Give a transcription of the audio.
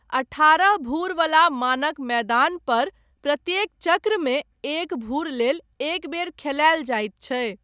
अठारह भूर वला मानक मैदान पर प्रत्येक चक्रमे एक भूर लेल एक बेर खेलायल जाइत छै।